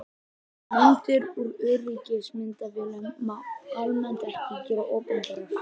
Myndir úr öryggismyndavélum má almennt ekki gera opinberar.